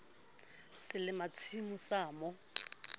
se le fatshemoo sa mo